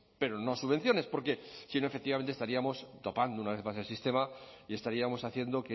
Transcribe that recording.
pero no subvenciones porque si no efectivamente estaríamos topando una vez más el sistema y estaríamos haciendo